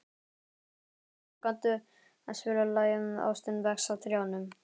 Grímar, kanntu að spila lagið „Ástin vex á trjánum“?